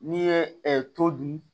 N'i ye to dun